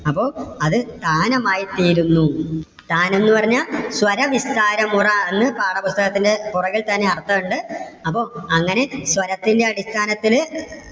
അപ്പോ അത് താനമായി തീരുന്നു. താനം എന്ന് പറഞ്ഞാ സ്വരവിസ്താരമുറ എന്ന് പാഠപുസ്തകത്തിന്റെ പുറകിൽ തന്നെ അർത്ഥം ഉണ്ട്. അപ്പം അങ്ങനെ സ്വരത്തിന്റെ അടിസ്ഥാനത്തില്